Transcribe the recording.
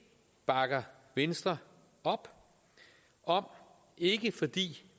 bakker venstre op om ikke fordi